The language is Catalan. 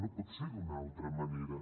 no pot ser d’una altra manera